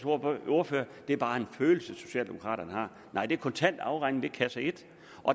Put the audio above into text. ordfører at det bare er en følelse socialdemokraterne har nej det er kontant afregning ved kasse et